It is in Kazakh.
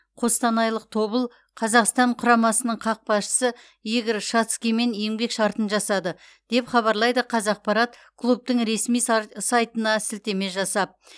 қостанайлық тобыл қазақстан құрамасының қақпашысы игорь шацкиймен еңбек шартын жасады деп хабарлайды қазақпарат клубтың ресми сайтына сілтеме жасап